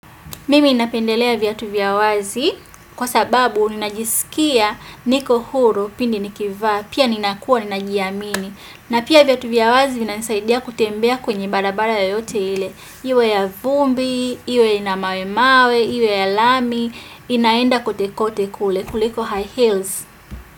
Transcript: Mimi napendelea viatu vya wazi kwa sababu unajisikia niko huru pindi nikivaa pia ninakua ninajiamini na pia viatu vya wazi inasaidia kutembea kwenye barabara yoyote ile. Iwe ya vumbi, iwe ina mawe mawe, iwe ya lami, inaenda kute kote kule kuliko high heels.